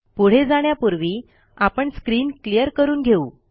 पुढे जाण्यापूर्वी आपण स्क्रीन क्लियर करून घेऊ